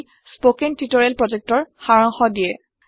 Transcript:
spoken tutorial প্ৰকল্পৰ সাৰাংশ ইয়াতে আছে